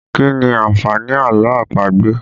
Kí ni àǹfààní àlọ́ àpagbè?